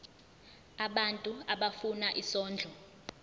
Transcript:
abantu abafuna isondlo